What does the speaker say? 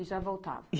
E já voltava?